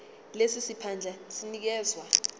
lesi siphandla sinikezwa